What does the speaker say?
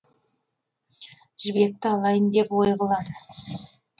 жібекті алайын деп ой қылады